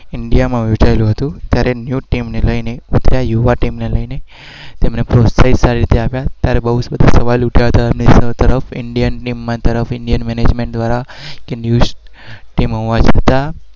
ઇન્ડિયામાં વેચાયેલું હતું.